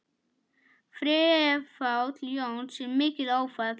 Fráfall Jóns er mikið áfall.